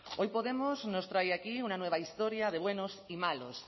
hoy podemos nos trae aquí una nueva historia de buenos y malos